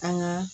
An ka